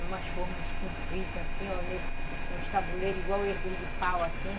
Numas formas compridas, assim, ó. em uns tabuleiros iguais esses de pau, assim.